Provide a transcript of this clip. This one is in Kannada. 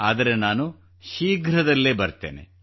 ಆದರೆ ನಾನು ಶೀಘ್ರದಲ್ಲೇ ಬರುತ್ತೇನೆ